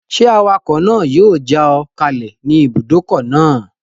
Ṣé awakọ̀ náà yóò já ọ kalẹ̀ ní ibùdókọ̀ náà?